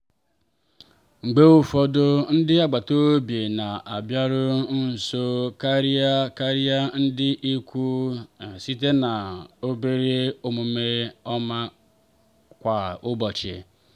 mgbe ụfọdụ ndị agbata obi na-abịaru nso karịa karịa ndị ikwu site na obere omume ọma kwa ụbọchị.